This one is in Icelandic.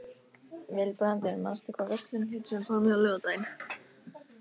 Vilbrandur, manstu hvað verslunin hét sem við fórum í á laugardaginn?